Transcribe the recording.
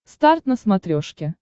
старт на смотрешке